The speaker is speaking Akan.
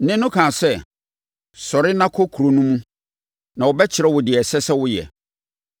Nne no kaa sɛ, “Sɔre na kɔ kuro no mu na wɔbɛkyerɛ wo deɛ ɛsɛ sɛ woyɛ.”